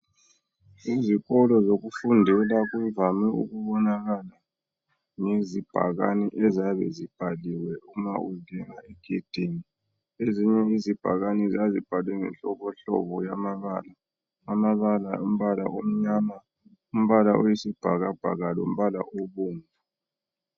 Ezikolo zokufundela kuvame ukubonakala ngamabhakane ayabe ebhaliwe ngenhlobonhlobo yamabala alemibala etshiyeneyo eluhlaza leyisibhakabhaka.